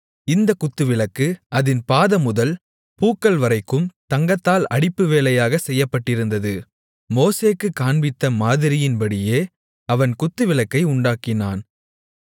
இந்தக் குத்துவிளக்கு அதின் பாதமுதல் பூக்கள்வரைக்கும் தங்கத்தால் அடிப்பு வேலையாகச் செய்யப்பட்டிருந்தது மோசேக்குக் காண்பித்த மாதிரியின்படியே அவன் குத்துவிளக்கை உண்டாக்கினான்